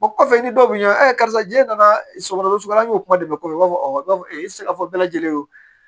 O kɔfɛ i ni dɔw bɛ ɲinan a karisa jɛ nana sɔgɔ sɔgɔ de bɛ kɔfɛ i tɛ se ka fɔ bɛɛ lajɛlen ye o